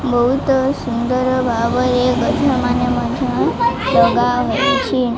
ବହୁତ ସୁନ୍ଦର ଭାବରେ ଗଛମାନେ ମଧ୍ୟ ଲଗା ହୋଇଛି।